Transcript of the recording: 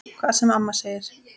Hvað sem amma segir.